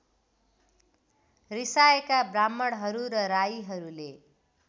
रिसाएका ब्राह्मणहरू र राईहरूले